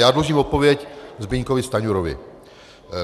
Já dlužím odpověď Zbyňkovi Stanjurovi.